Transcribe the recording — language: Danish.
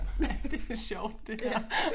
Ja det da sjovt det her